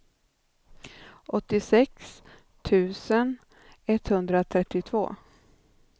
åttiosex tusen etthundratrettiotvå